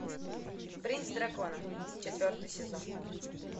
принц дракона четвертый сезон